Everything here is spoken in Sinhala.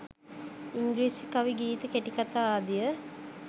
ඉංග්‍රීසි කවි ගීත කෙටිකතා ආදිය